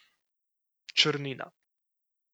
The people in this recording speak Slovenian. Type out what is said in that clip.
Črnina.